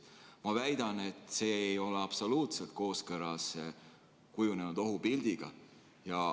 Ma väidan, et see ei ole absoluutselt kooskõlas kujunenud ohupildiga.